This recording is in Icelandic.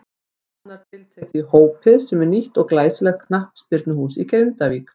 Nánar tiltekið í Hópið sem er nýtt og glæsilegt knattspyrnuhús í Grindavík.